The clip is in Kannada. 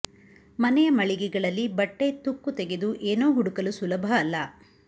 ಮನೆಯ ಮಳಿಗೆಗಳಲ್ಲಿ ಬಟ್ಟೆ ತುಕ್ಕು ತೆಗೆದು ಏನೋ ಹುಡುಕಲು ಸುಲಭ ಅಲ್ಲ